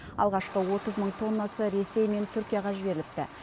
алғашқы отыз мың тоннасы ресей мен түркияға жіберіліпті